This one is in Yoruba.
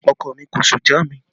Ọkọ mi kò sú já mi